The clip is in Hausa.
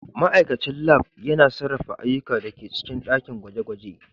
Ma'aikacin Lab yana sarrafa ayyukan da ke cikin ɗakin gwaje-gwaje.